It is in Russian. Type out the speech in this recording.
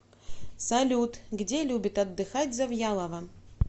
салют где любит отдыхать завьялова